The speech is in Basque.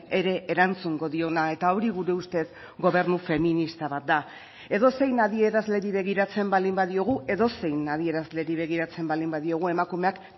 ere erantzungo diona eta hori gure ustez gobernu feminista bat da edozein adierazleri begiratzen baldin badiogu edozein adierazleri begiratzen baldin badiogu emakumeak